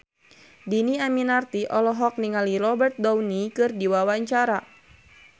Dhini Aminarti olohok ningali Robert Downey keur diwawancara